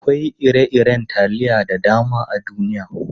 Akwai ire-iren taliya da dama a duniya.